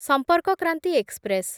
ସମ୍ପର୍କ କ୍ରାନ୍ତି ଏକ୍ସପ୍ରେସ୍